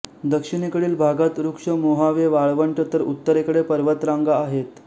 दक्षिणेकडील भागात रुक्ष मोहावे वाळवंट तर उत्तरेकडे पर्वतरांगा आहेत